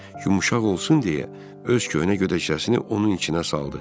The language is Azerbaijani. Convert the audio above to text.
Yumşaq olsun deyə öz köhnə gödəkcəsini onun içinə saldı.